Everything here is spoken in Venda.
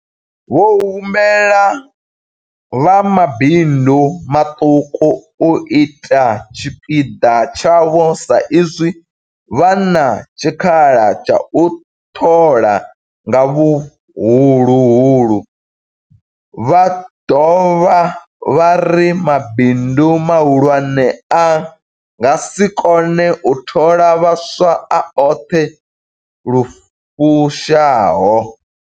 Vho humbela vha mabindu maṱuku u ita tshipiḓa tshavho sa izwi vha na tshikhala tsha u thola nga huhulu, vha dovha vha ri mabindu mahulwane a nga si kone u thola vhaswa a oṱhe lu fushaho.